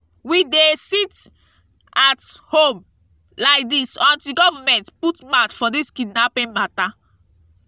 we dey sit-at-home lai dis until government put mout for dis kidnapping mata.